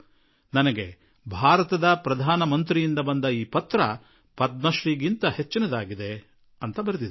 ನನ್ನ ಪಾಲಿಗಂತೂ ಭಾರತದ ಪ್ರಧಾನಮಂತ್ರಿಯವರ ಈ ಪತ್ರ ಪದ್ಮಶ್ರೀ ಪ್ರಶಸ್ತಿಗಿಂತ ಕಡಿಮೆಯೇನೂ ಅಲ್ಲ ಎಂದು ಅವರು ಬರೆದಿದ್ದಾರೆ